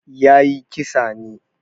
Ya yi kisa ne.